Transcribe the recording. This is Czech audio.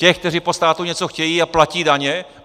Těch, kteří po státu něco chtějí a platí daně?